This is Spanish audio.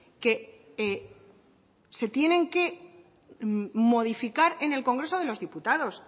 que se tienen que modificar en el congreso de los diputados